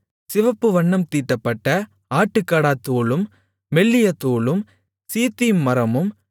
சிவப்பு வண்ணம் தீட்டப்பட்ட ஆட்டுக்கடாத்தோலும் மெல்லிய தோலும் சீத்திம் மரமும்